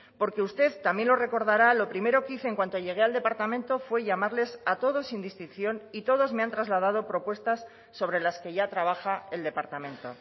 porque usted también lo recordará lo primero que hice en cuanto llegué al departamento fue llamarles a todos sin distinción y todos me han trasladado propuestas sobre las que ya trabaja el departamento